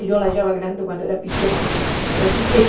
Eu achava grande quando era pequena, porque era